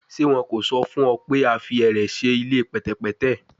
Ṣe wọn ko sọ fun ọ pe a fi ẹrẹ ṣe ile pẹtẹpẹtẹ?